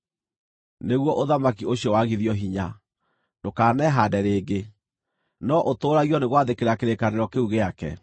nĩguo ũthamaki ũcio wagithio hinya, ndũkanehaande rĩngĩ, no ũtũũragio nĩ gwathĩkĩra kĩrĩkanĩro kĩu gĩake.